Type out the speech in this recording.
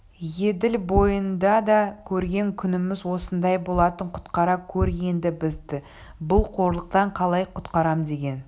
еділ бойында да көрген күніміз осындай болатын құтқара көр енді бізді бұл қорлықтан қалай құтқарам деген